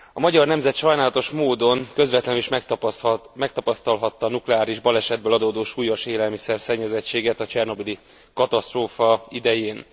A magyar nemzet sajnálatos módon közvetlenül is megtapasztalhatta a nukleáris balesetből adódó súlyos élelmiszer szennyezettséget a csernobili katasztrófa idején.